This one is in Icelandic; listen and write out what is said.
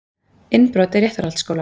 Innbrot í Réttarholtsskóla